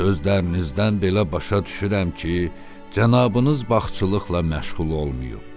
Sözlərinizdən belə başa düşürəm ki, cənabınız bağçılıqla məşğul olmayıb.